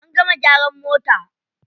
An gama gyaran mota.